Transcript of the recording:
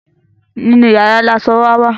nínú yàrá ní aṣọ wà wá